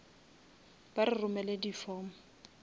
ba re romele di form